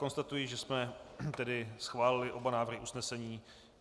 Konstatuji, že jsme tedy schválili oba návrhy usnesení.